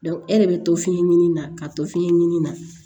e de bɛ to fiɲɛ ɲini na ka to fiɲɛ ɲini na